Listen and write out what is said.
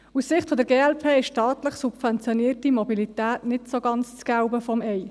Aus der Sicht der glp ist staatlich subventionierte Mobilität nicht so ganz das Gelbe vom Ei.